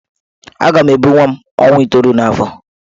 Aga m ebu nwa m ọnwa itoolu n'afọ.